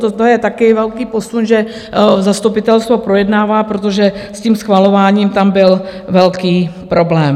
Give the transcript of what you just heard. Toto je také velký posun, že zastupitelstvo projednává, protože s tím schvalováním tam byl velký problém.